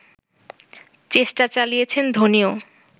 চেষ্টা চালিয়েছেন ধোনিও